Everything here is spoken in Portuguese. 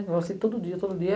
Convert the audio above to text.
Eu passei todo dia, todo dia.